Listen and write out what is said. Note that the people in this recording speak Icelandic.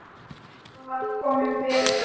Það var kominn vetur.